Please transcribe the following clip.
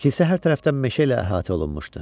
Kilsə hər tərəfdən meşə ilə əhatə olunmuşdu.